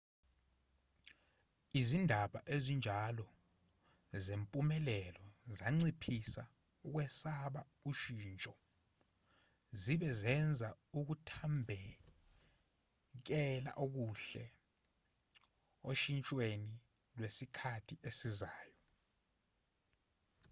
izindaba ezinjalo zempumelelo zanciphisa ukwesaba ushintsho zibe zenza ukuthambekela okuhle oshintshweni lwesikhathi esizayo